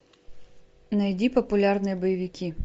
найди популярные боевики